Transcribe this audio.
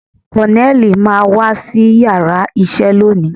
Koneli máa wá sí yàrá isẹ lónìí